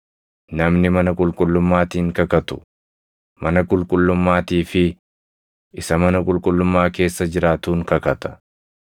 Namni mana qulqullummaatiin kakatu, mana qulqullummaatii fi isa mana qulqullummaa keessa jiraatuun kakata.